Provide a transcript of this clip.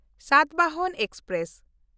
Satavahana express